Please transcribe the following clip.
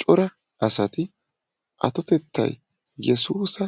Cora asati atotettay yesuusa